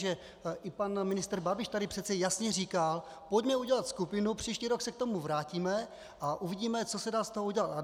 Že i pan ministr Babiš tady přece jasně říkal: Pojďme udělat skupinu, příští rok se k tomu vrátíme a uvidíme, co se dá z toho udělat.